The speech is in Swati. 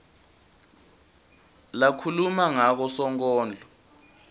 lakhuluma ngako sonkondlo